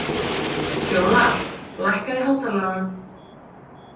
Fjólar, lækkaðu í hátalaranum.